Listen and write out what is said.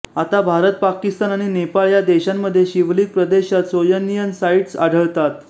आता भारत पाकिस्तान आणि नेपाळ या देशांमध्ये शिवलिक प्रदेशात सोयनियन साइट्स आढळतात